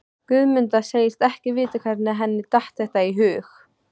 Guðmunda segist ekki vita hvernig henni datt þetta í hug.